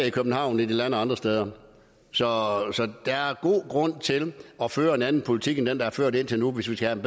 i københavn end de lander andre steder så der er god grund til at føre en anden politik end den der er ført indtil nu hvis vi skal have